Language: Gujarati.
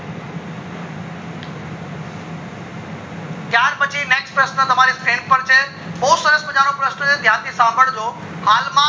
ત્યાર પછી next question તમારી screen પર છે બૌ સરસ મજા નો પ્રશન છે ધ્યાનથી સંભાળજો હાલ માં